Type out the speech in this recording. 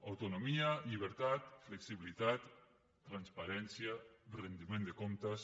autonomia llibertat flexibilitat transparència rendiment de comptes